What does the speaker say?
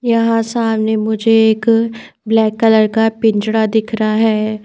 यहाँ सामने मुझे एक ब्लैक कलर का पिंजड़ा दिख रहा है।